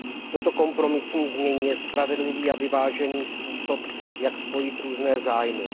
Toto kompromisní znění je spravedlivý a vyvážený způsob jak spojit různé zájmy.